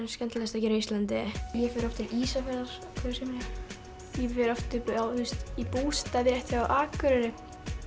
skemmtilegast að gera á Íslandi ég fer oft til Ísafjarðar ég fer oft upp í bústað rétt hjá Akureyri